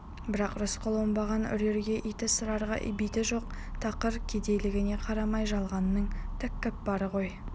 бірақ рысқұл оңбаған үрерге иті сығарға биті жоқ тақыр кедейлігіне қарамай жалғанның тәкаппары ғой